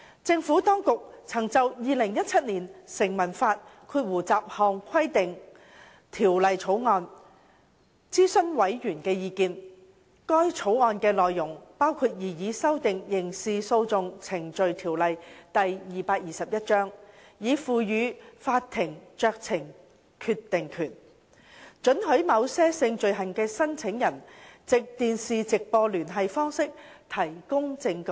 政府當局曾就《2017年成文法條例草案》諮詢委員的意見，該條例草案的內容包括擬議修訂《刑事訴訟程序條例》，以賦予法庭酌情決定權，准許某些性罪行的申訴人藉電視直播聯繫方式提供證據。